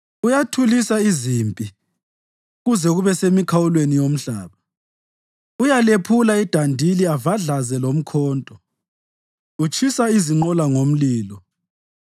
Uyathulisa izimpi kuze kube semikhawulweni yomhlaba; uyalephula idandili avadlaze lomkhonto, utshisa izinqola ngomlilo.